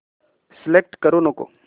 select करू नको